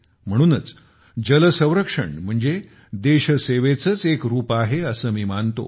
म्हणूनच जल संरक्षण म्हणजे देश सेवेचेच एक रूप आहे असे मी मानतो